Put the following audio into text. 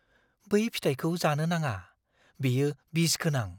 बै फिथाइखौ जानो नाङा। बेयो बिसगोनां।